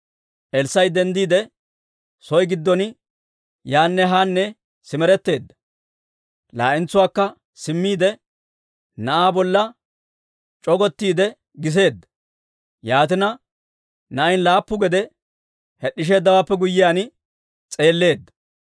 Elssaa'i denddiide, soo giddon yaanne haanne simeretteedda. Laa"entsuwaakka simmiide, na'aa bolla c'ogottiide giseedda. Yaatina na'ay laappu gede hed'd'isheeddawaappe guyyiyaan s'eelleedda.